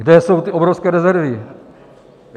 Kde jsou ty obrovské rezervy?